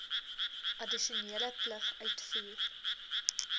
addisionele plig uitvoer